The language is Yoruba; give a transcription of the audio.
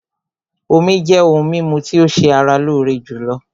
Omí jẹ́ òhún mímú tí o ṣé ara lóore jùlọ.